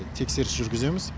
тексеріс жүргіземіз